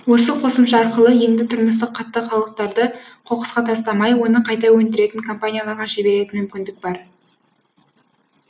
осы қосымша арқылы енді тұрмыстық қатты қалдықтарды қоқысқа тастамай оны қайта өндіретін компанияларға жіберетін мүмкіндік бар